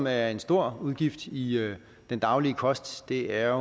er en stor udgift i den daglige kost er